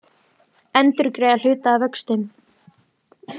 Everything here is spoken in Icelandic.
Endurgreiða hluta af vöxtum